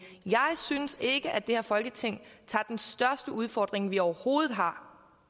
jeg synes ikke at det her folketing tager den største udfordring vi overhovedet har